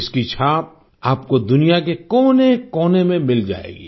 इसकी छाप आपको दुनिया के कोनेकोने में मिल जाएगी